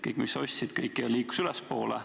Kõik, mis sa ostsid, liikus ülespoole.